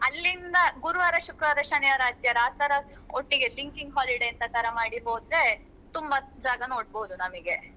ಅಲ್ಲಿಂದ ಗುರುವಾರ, ಶುಕ್ರವಾರ, ಶನಿವಾರ, ಆದಿತ್ಯವಾರ ಆತರ ಒಟ್ಟಿಗೆ linking holiday ಅಂತತರ ಮಾಡಿ ಹೋದ್ರೆ ತುಂಬ ಜಾಗ ನೋಡ್ಬೋದು ನಮಿಗೆ.